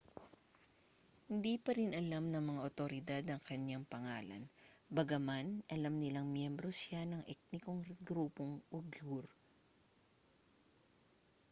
hindi pa rin alam ng mga awtoridad ang kaniyang pangalan bagaman alam nilang miyembro siya ng etnikong grupong uighur